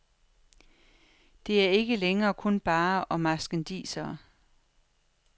Det er ikke længere kun barer og marskandisere.